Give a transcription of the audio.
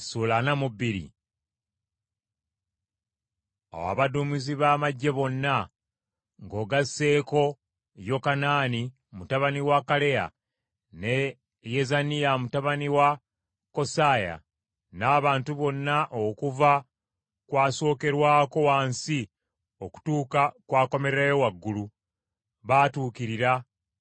Awo abaduumizi ba magye bonna, ng’ogasseeko Yokanaani mutabani wa Kaleya ne Yezaniya mutabani wa Kosaaya, n’abantu bonna okuva ku asokerwako wansi okutuuka ku akomererayo waggulu baatuukirira